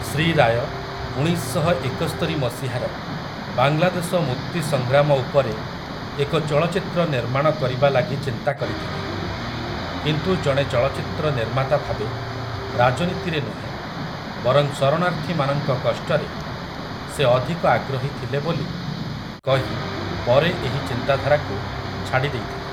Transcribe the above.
ଶ୍ରୀ ରାୟ ଉଣେଇଶ ଶହ ଏକସ୍ତରି ମସିହାର ବାଂଲାଦେଶ ମୁକ୍ତି ସଂଗ୍ରାମ ଉପରେ ଏକ ଚଳଚ୍ଚିତ୍ର ନିର୍ମାଣ କରିବା ଲାଗି ଚିନ୍ତା କରିଥିଲେ, କିନ୍ତୁ ଜଣେ ଚଳଚ୍ଚିତ୍ର ନିର୍ମାତା ଭାବେ ରାଜନୀତିରେ ନୁହେଁ ବରଂ ଶରଣାର୍ଥୀମାନଙ୍କ କଷ୍ଟରେ ସେ ଅଧିକ ଆଗ୍ରହୀ ଥିଲେ ବୋଲି କହି ପରେ ଏହି ଚିନ୍ତାଧାରାକୁ ଛାଡ଼ି ଦେଇଥିଲେ ।